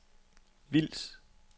Vils